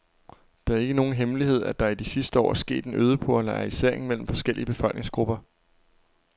Det er ikke nogen hemmelighed, at der i de sidste år er sket en øget polarisering mellem forskellige befolkningsgrupper.